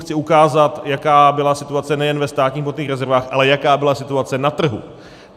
Chci ukázat, jaká byla situace nejen ve státních hmotných rezervách, ale jaká byla situace na trhu.